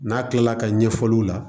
N'a kilala ka ɲɛfɔliw la